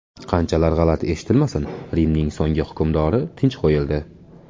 Qanchalar g‘alati eshitilmasin, Rimning so‘nggi hukmdori tinch qo‘yildi.